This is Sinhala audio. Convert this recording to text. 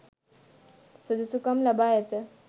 සුදුසුකම් ලබා ඇත.